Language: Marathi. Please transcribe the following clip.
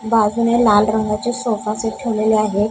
बाजूने लाल रंगाचा सोफा सेट ठेवलेले आहेत.